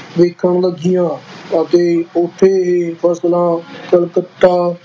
ਵਿਕਣ ਲੱਗੀਆਂ ਅਤੇ ਉੱਥੇ ਇਹ ਫਸਲਾਂ ਕਲਕੱਤਾ